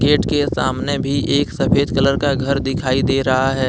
Gate के सामने भी एक सफेद कलर का घर दिखाई दे रहा है।